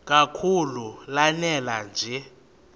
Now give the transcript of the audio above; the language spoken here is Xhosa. kakhulu lanela nje